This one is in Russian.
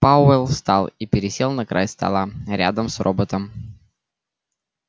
пауэлл встал и пересел на край стола рядом с роботом